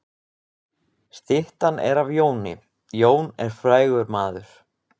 Styttan er af Jóni. Jón er frægur maður.